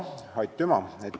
Aitüma!